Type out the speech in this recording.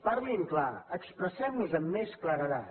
parlin clar expressem nos amb més claredat